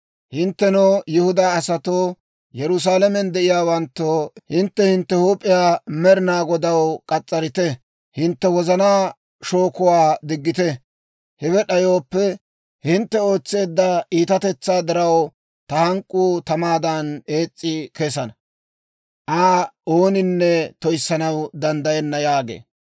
Hinttenoo, Yihudaa asatoo, Yerusaalamen de'iyaawanttoo, hintte hintte huup'iyaa Med'inaa Godaw k'as's'arite; hintte wozanaa shookuwaa diggite. Hewe d'ayooppe, hintte ootseedda iitatetsaa diraw, ta hank'k'uu tamaadan ees's'i kesana. Aa ooninne toyissanaw danddayenna» yaagee.